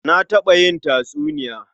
Na taɓa yin tatsuniya.